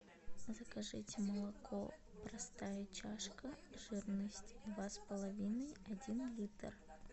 закажите молоко простая чашка жирность два с половиной один литр